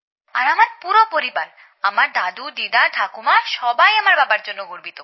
আর আমার পুরো পরিবার আমার দাদুদিদা ঠাকুমা সকলেই আমার বাবার জন্য গর্বিত